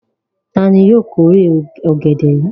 Ta ni yóò kórè ọ̀gẹ̀dẹ̀ yìí?